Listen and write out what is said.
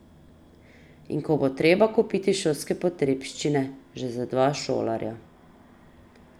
In ko bo treba kupiti šolske potrebščine že za dva šolarja.